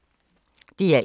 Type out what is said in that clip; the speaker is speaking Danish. DR1